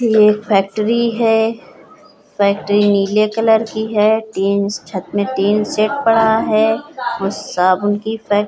एक फैक्ट्री है। फैक्ट्री नीले कलर की है। टीन छत में टीन सेट पड़ा है और साबुन की फै --